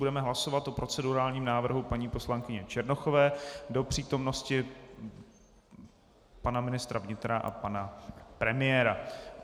Budeme hlasovat o procedurálním návrhu paní poslankyně Černochové do přítomnosti pana ministra vnitra a pana premiéra.